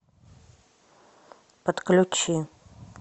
подключи